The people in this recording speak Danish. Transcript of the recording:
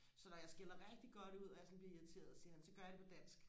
så når jeg skælder rigtig god ud og jeg sådan bliver irriteret siger han så gør jeg det på dansk